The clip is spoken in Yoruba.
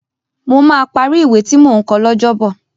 Mo máa parí ìwé tí mò ń kọ lọ́jọ́bọ̀